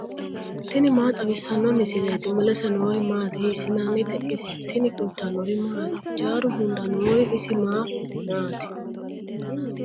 tini maa xawissanno misileeti ? mulese noori maati ? hiissinannite ise ? tini kultannori maati? Hijjaru hunda noori isi maa maati?